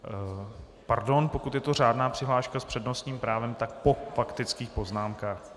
Pardon, pokud je to řádná přihláška s přednostním právem, tak po faktických poznámkách.